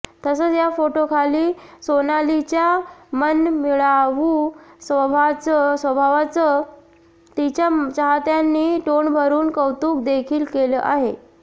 तसंच या फोटोखाली सोनालीच्या मनमिळावू स्वभावाचं तिच्या चाहत्यांनी तोंडभरून कौतुक देखील केलं आहे